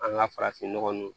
An ka farafinnɔgɔn nun